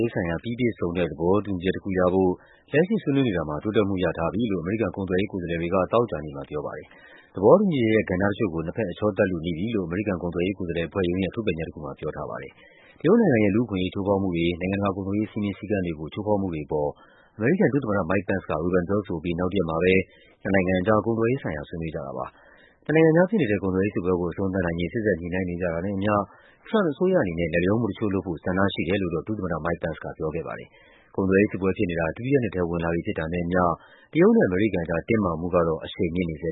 ရေးဆိုင်ရာ ပြီးပြည့်စုံတဲ့ သဘောတူညီချက်တခုရဖို့ လက်ရှိဆွေးနွေးနေ တာမှာ တိုးတက်မှုရထားပြီလို့ အမေရိကန် ကုန်သွယ်ရေးကိုယ်စားလှယ်တွေက သောကြာနေ့မှာပြောပါတယ်။ “သဘောတူညီချက်ရဲ့ ကဏ္ဍတချို့ကို နှစ်ဘက် အချောသတ်လုနီးပြီ” လို့ အမေရိကန် ကုန်သွယ်ရေးကိုယ်စားလှယ်အဖွဲ့ရုံးရဲ့ ထုတ်ပြန်ချက်တခုမှာ ပြောထားပါတယ်။ တရုတ်နိုင်ငံရဲ့ လူ့အခွင့်အရေး ချိုးဖောက်မှုတွေ၊ နိုင်ငံတကာ ကုန်သွယ်ရေး စည်းမျဉ်းစည်းကမ်းတွေကို ချိုးဖောက်မှုတွေအပေါ် အမေရိကန်ဒုသမ္မတ Mike Pence က ဝေဖန်ပြောဆိုအပြီး နောက်တရက်မှာပဲ နှစ်နိုင်ငံကြား ကုန်သွယ်ရေးဆိုင်ရာ ဆွေးနွေးကြ တာပါ။ နှစ်နိုင်ငံအကြားဖြစ်နေတဲ့ ကုန်သွယ်ရေးစစ်ပွဲကို အဆုံးသတ်နိုင်ရေး စေ့စပ်ညှိနှိုင်းနေကြတာနဲ့အမျှ ထရမ့်ပ်အစိုးရအနေနဲ့ လိုက်လျောမှုတချို့လုပ်ဖို့ ဆန္ဒရှိတယ်လို့တော့ ဒုသမ္မတ Mike Pence က ပြောခဲ့ပါတယ်။ ကုန်သွယ်ရေးစစ်ပွဲဖြစ်နေတာ ဒုတိယနှစ်ထဲ ဝင်လာပြီဖြစ်တာနဲ့အမျှ တရုတ်နဲ့ အမေရိကန်ကြား တင်းမာမှုကတော့ အရှိန်မြင့်နေ ဆဲ